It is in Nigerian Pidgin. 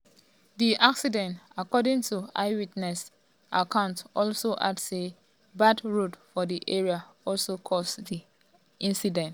di accident according to eyewitness accounts also add say bad road for di area also cause di incident.